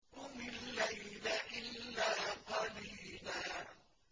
قُمِ اللَّيْلَ إِلَّا قَلِيلًا